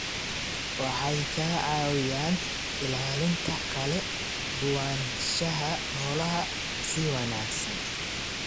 Waxay ka caawiyaan ilaalinta kala duwanaanshaha noolaha si wanaagsan.